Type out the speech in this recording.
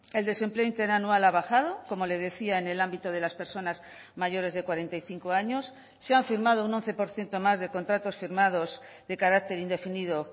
el desempleo interanual ha bajado como le decía en el ámbito de las personas mayores de cuarenta y cinco años se han firmado un once por ciento más de contratos firmados de carácter indefinido